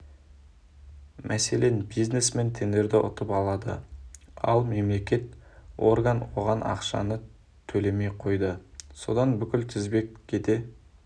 мәселен бизнесмен тендерді ұтып алады ал мемлекеттік орган оған ақшаны төлемей қойды содан бүкіл тізбек кете